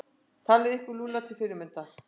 Takið ykkur Lúlla til fyrirmyndar.